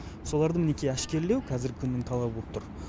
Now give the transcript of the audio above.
солардың мінекей әшкерлеу қазіргі күннің талабы болып тұр